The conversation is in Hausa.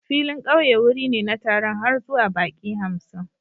Filin ƙauye wuri ne na taron har zuwa baƙi hamsin